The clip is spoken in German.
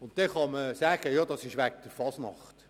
Man kann sagen, das sei wegen der Fasnacht.